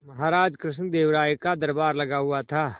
महाराज कृष्णदेव राय का दरबार लगा हुआ था